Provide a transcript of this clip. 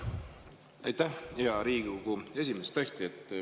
Aitäh, hea Riigikogu esimees!